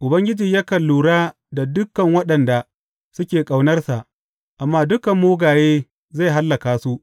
Ubangiji yakan lura da dukan waɗanda suke ƙaunarsa, amma dukan mugaye zai hallaka su.